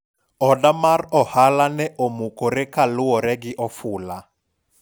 oda mar ohala ne omukore kaluwore gi ofula